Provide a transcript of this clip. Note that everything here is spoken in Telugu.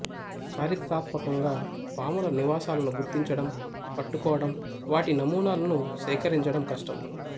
చారిత్రాత్మకంగా పాముల నివాసాలను గుర్తించటం పట్టుకోవటం వాటి నమూనాలను సేకరించటం కష్టం